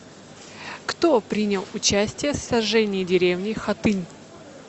кто принял участие в сожжении деревни хатынь